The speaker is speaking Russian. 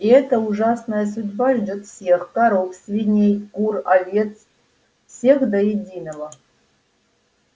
и эта ужасная судьба ждёт всех коров свиней кур овец всех до единого